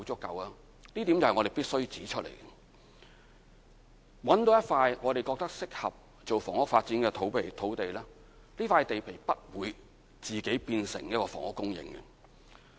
有一點是我們必須指出：找到一塊我們覺得適合用作房屋發展的土地後，這塊地皮不會自己變成房屋用地。